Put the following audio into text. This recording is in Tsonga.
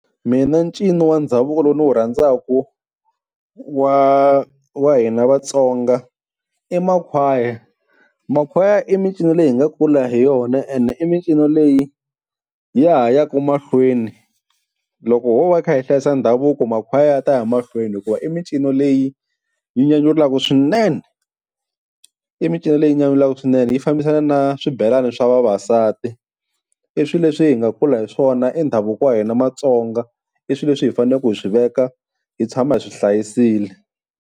Mina ncino wa ndhavuko lowu ndzi wu rhandzaka wa wa hina Vatsonga i makhwaya. Makhwaya i mincino leyi hi nga kula hi yona, ene i mincino leyi ya ha yaka mahlweni loko ho va kha hi hlayisa ndhavuko makhwaya ya ta ya mahlweni, hikuva i mincino leyi yi nyanyulaka swinene. I mincino leyi nyawulaka swinene yi fambisana na swibelani swa vavasati i swileswi hi nga kula hi swona i ndhavuko wa hina Matsonga i swilo leswi hi fanelaka hi swi veka hi tshama hi swi hlayisile.